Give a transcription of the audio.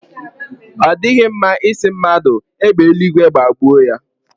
Ọ dịghị mma ị sị mmadụ égbè eluigwe gbagbue ya.